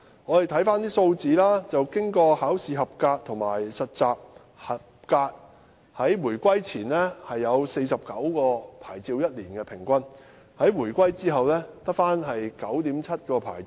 我們看看有關數字，通過考試和實習合格的人數，在回歸前，平均每年有49個牌照，但回歸後，每年只有 9.7 個牌照。